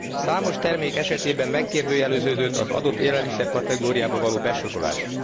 Számos termék esetében megkérdőjeleződött az adott élelmiszer kategóriába való besorolás.